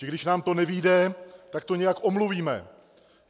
Že když nám to nevyjde, tak to nějak omluvíme.